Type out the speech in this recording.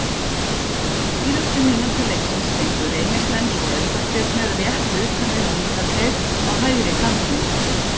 Á síðustu mínútu leiksins fengu Reynismenn svo aukaspyrnu rétt utan við vítateig á hægri kantinum.